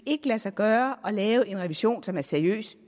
ikke lade sig gøre at lave en revision som er seriøs